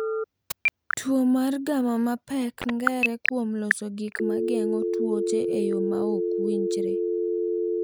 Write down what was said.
Tuwo mar gamma mapek ng’ere kuom loso gik ma geng’o tuoche e yo ma ok owinjore.